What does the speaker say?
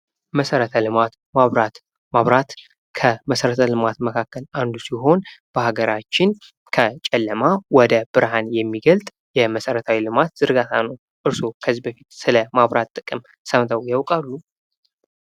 መሠረተ ልማት መብራት መብራት ከመሠረተ ልማት መካከል አንዱ ሲሆን በሀገራችን ከጨለማ ወደ ብርሃን የሚገልጽ የመሠረታዊ ልማት ዝርጋታ ነው። እርስዎ ከዚህ በፊት ስለመብራት ጥቅም ሰምተው ያውቃሉ?